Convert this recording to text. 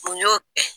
Mun y'o kɛ